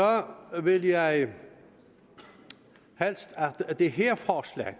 vil jeg helst have at det her forslag